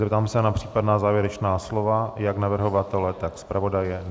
Zeptám se na případná závěrečná slova jak navrhovatele, tak zpravodaje?